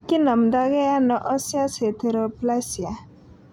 Kinomdo ge ano osseous heteroplasia?